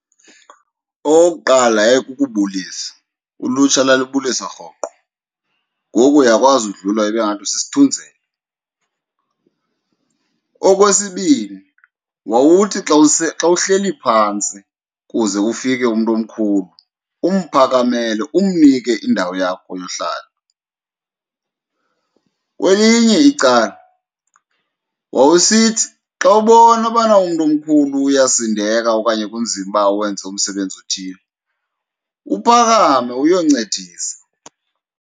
Okokuqala, yayikukubulisa, ulutsha lalibulisa rhoqo, ngoku uyakwazi udlula ibe ngathi usisithunzela. Okwesibini, wawuthi xa , xa uhleli phantsi kuze kufike umntu omkhulu umphakamele umnike indawo yakho yohlala. Kwelinye icala, wawusithi xa ubona ubana umntu omkhulu uyasindeka okanye kunzima uba awenze umsebenzi othile uphakame uyoncedisa.